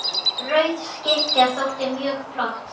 Rauð skikkja þótti mjög flott.